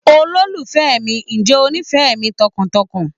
Olólùfẹ́ mi, ǹjẹ́ ó nífẹ̀ẹ́ mi tọkàntọkàn?